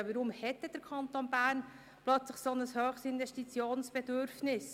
Ja, weshalb hat denn der Kanton Bern plötzlich ein so grosses Investitionsbedürfnis?